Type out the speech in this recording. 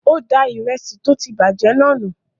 Ó da ìrẹsì tó ti bàjẹ́ náà nù.